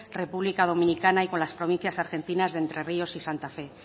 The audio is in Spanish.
república dominicana y con las provincias argentinas de entre ríos y santa fe